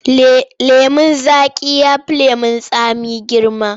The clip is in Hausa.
Lemon zaƙi ya fi lemon tsami girma.